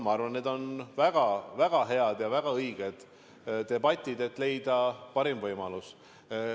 Ma arvan, et need on väga-väga head ja väga õiged debatid, mille eesmärk on leida parim võimalus.